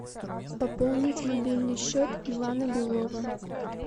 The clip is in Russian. пополнить мобильный счет ивана белова